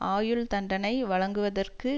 ஆயுள் தண்டனை வழங்குவதற்கு